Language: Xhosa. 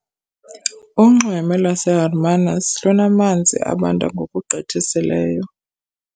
Unxweme laseHermanus lunamanzi abanda ngokugqithisileyo.